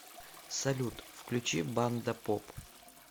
салют включи банда поп